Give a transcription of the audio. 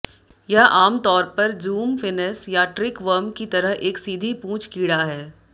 यह आमतौर पर ज़ूम फिनेस या ट्रिक वर्म की तरह एक सीधी पूंछ कीड़ा है